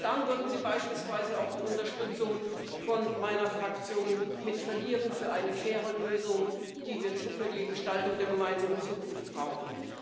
Denn dann würden Sie beispielsweise auch die Unterstützung von meiner Fraktion verlieren für eine faire Lösung, die wir für die Gestaltung der gemeinsamen Zukunft brauchen.